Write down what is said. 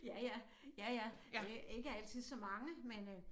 Ja ja ja ja øh ikke altid så mange men øh